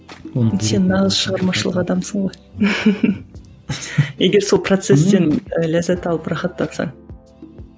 сен нағыз шығармашылық адамысың ғой егер сол процестен ләззат алып рахат тапсаң